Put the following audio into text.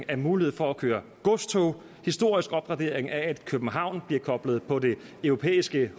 af muligheden for at køre godstog en historisk opgradering af at københavn bliver koblet på det europæiske